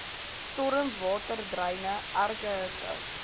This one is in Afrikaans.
stormwaterdreine erge hitte